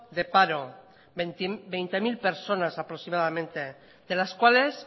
de paro veinte mil personas aproximadamente de las cuales